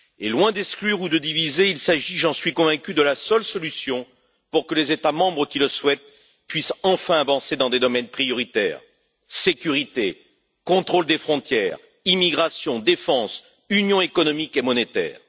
Loin d'exclure ou de diviser, il s'agit j'en suis convaincu de la seule solution pour que les États membres qui le souhaitent puissent enfin avancer dans des domaines prioritaires sécurité, contrôle des frontières, immigration, défense, union économique et monétaire.